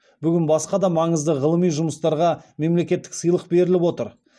бүгін басқа да маңызды ғылыми жұмыстарға мемлекеттік сыйлық беріліп отыр